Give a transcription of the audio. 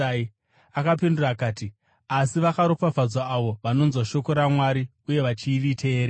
Akapindura akati, “Asi vakaropafadzwa avo vanonzwa shoko raMwari uye vachiriteerera.”